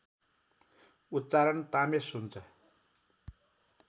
उच्चारण तामेस हुन्छ